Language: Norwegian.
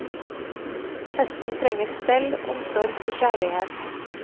Hesten trenger stell, omsorg og kjærlighet.